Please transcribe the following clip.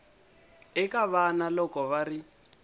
eka vana loko va ri